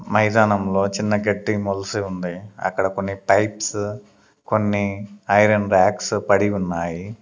మైదానంలో చిన్న గడ్డి మొలసి ఉంది అక్కడ కొన్ని పైప్స్ కొన్ని ఐరన్ ర్యాక్స్ పడి ఉన్నాయి.